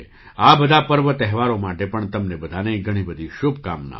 આ બધા પર્વ તહેવારો માટે પણ તમને બધાને ઘણી બધી શુભકામનાઓ